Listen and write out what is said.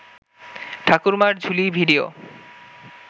ঠাকুরমার ঝুলি ভিডিও